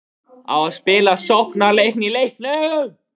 Á að spila sóknarleik í leiknum?